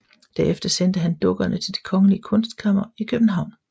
Derefter sendte han dukkerne til Det kongelige Kunstkammer i København